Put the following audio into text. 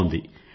బావుంది